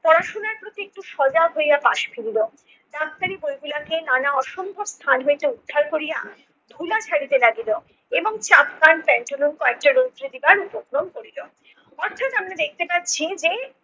পড়াশুনার প্রতি একটু সজাগ হইয়া পাশ ফিরিল। ডাক্তারি বইগুলাকে নানা অসম্ভব স্থান হইতে উদ্ধার করিয়া ধুলা ঝাড়িতে লাগিল, এবং চাপকান পেন্টালুন কয়েকটা রৌদ্রে দেবার উপক্রম করিল। বদর। সুতরাং আমরা দেখতে পাচ্ছি